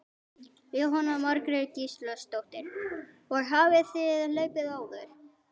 Jóhanna Margrét Gísladóttir: Og hafið þið hlaupið áður?